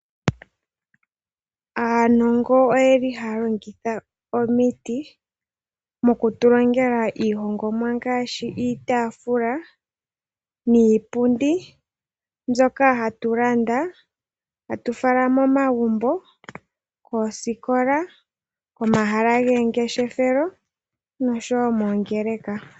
Aanongo oyeli ha longitha oomiti. mokutulongela ihongomwa ngashi iitafula niipundi pyoka hatulanda atufala moomagumbo, koosikola oma shala gongeshefelo, kongeeleka.